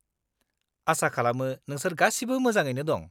-आसा खालामो नोंसोर गासिबो मोजाङैनो दं।